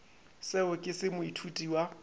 seo ke se moithuti wa